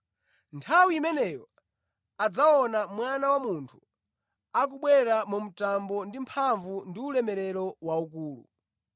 Nthawi imeneyo adzaona Mwana wa Munthu akubwera ndi mitambo, mphamvu ndi ulemerero waukulu.